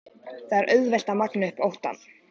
Það er auðvelt að magna upp óttann.